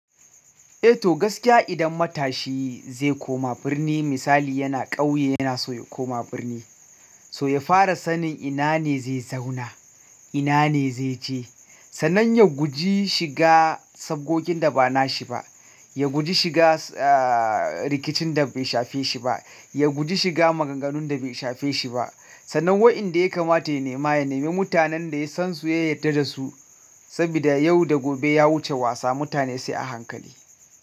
Eh to gaskiya idan matashi zai koma birni, misali yana ƙauye yana so ya koma birni, so ya fara sanin ina ne zai zauna, ina ne zai je. Sannan ya guji shiga sabgojin da ba na shi ba, ya guji shiga, eh, rikicin da bai shafe shi ba, ya guji shiga maganganun da bai shafe shi ba. Sannan waɗanda ya kamata ya nema, ya nemi mutanen da ya san su, ya yadda da su. Sabida yau da gobe ya wuce wasa mutane sai a hankali.